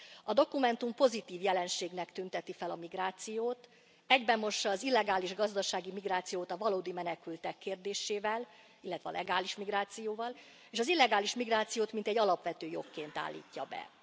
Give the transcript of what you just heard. A dokumentum pozitív jelenségnek tünteti fel a migrációt, egybemossa az illegális gazdasági migrációt a valódi menekültek kérdésével, illetve a legális migrációval, és az illegális migrációt alapvető jogként állítja be.